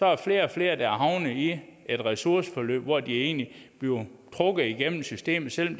er flere og flere havnet i et ressourceforløb hvor de egentlig bliver trukket igennem systemet selv om